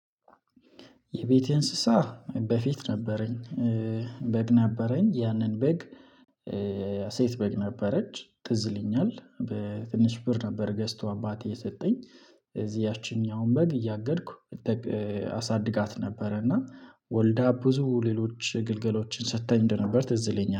የቤቴ እንስሳ በፊት ነበረኝ። በግ ነበረኝ ያንን በግ። ሴት በግ ነበረች ትዝ ይለኛል በትንሽ ብር ነበር ገዝቶ አባቴ የሰጠኝ። ስለዚህ ያቺኛዋን በግ እያገድኩ አሳድጋት ነበረ። እና ወልዳ ብዙ ሌሎች ግልገሎችን ሰጥተኝ እንደነበር ትዝ ይለኛል